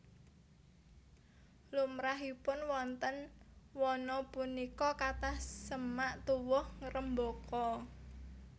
Limrahipun wonten wana punika kathah semak tuwuh ngrembaka